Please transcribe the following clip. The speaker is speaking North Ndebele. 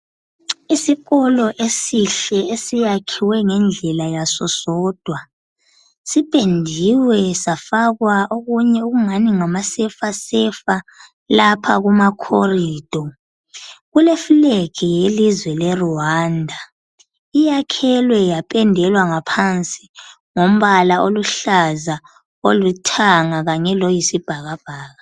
Isikolo esihle esakhiwe ngendlela yaso sodwa sipendiw safakwa okunye okungani ngama sefa sefa ku khorido, kulefleg yelizwe le Rwanda iyakhelwe yapendelwa ngaphansi ngombala , oluhlaza, olithanga kanye loyisi bhakabhaka